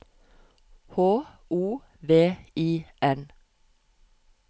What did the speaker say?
H O V I N